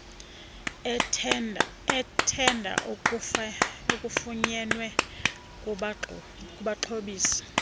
ethenda afunyenwe kubaxhobisi